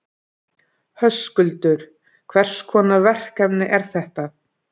Höskuldur: Hvers konar verkefni eru þetta?